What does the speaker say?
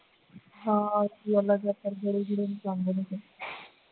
ਹਾਂ